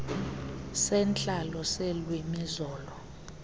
sentlalo seelwimi zolo